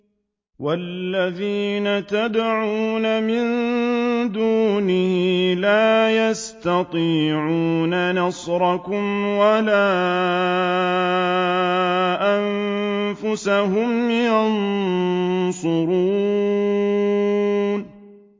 وَالَّذِينَ تَدْعُونَ مِن دُونِهِ لَا يَسْتَطِيعُونَ نَصْرَكُمْ وَلَا أَنفُسَهُمْ يَنصُرُونَ